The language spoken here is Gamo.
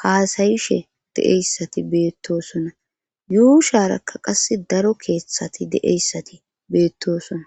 haasayishe de7eyssati beettosona yuusharakka qas daro keeththati de7eyssati beettosona.